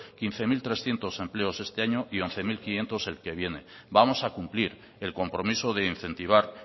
quince mil trescientos empleos este año y once mil quinientos el que viene vamos a cumplir el compromiso de incentivar